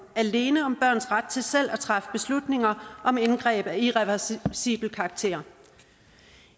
alene om børns ret til selv at træffe beslutninger om indgreb af irreversibel karakter